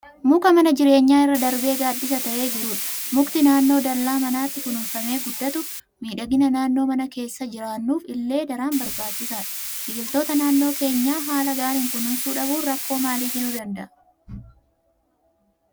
Muka mana jireenyaa irra darbee gaaddisa ta'ee jirudha. Mukti naannoo dallaa manaatti kunuunfamee guddatu miidhagina naannoo mana keessa jiraannuuf illee daran barbaachisaadha. Biqiltoota naannoo keenyaa haala gaariin kunuunsuu dhabuun rakkoo maalii fiduu danda'a?